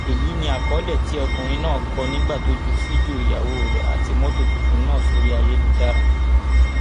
èyí ni àkọlé tí ọkùnrin náà kọ nígbà tó ju fídíò ìyàwó rẹ àti mọtò tuntun náà sórí ayélujára